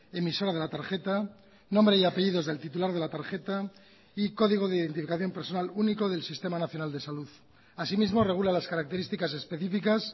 emisora de la tarjeta nombre y apellidos del titular de la tarjeta y código de identificación personal único del sistema nacional de salud así mismo regula las características específicas